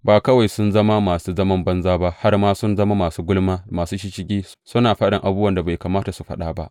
Ba kawai sun zama masu zaman banza ba, har ma sun zama masu gulma da masu shisshigi, suna faɗin abubuwan da bai kamata su faɗa ba.